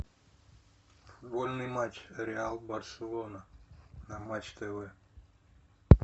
футбольный матч реал барселона на матч тв